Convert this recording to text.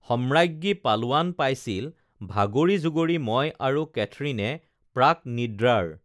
সম্ৰাজ্ঞী পালোৱান পাইছিল ভাগৰি জুগৰি ম‍ই আৰু কেথৰিণে প্ৰাক‍নিদ্ৰাৰ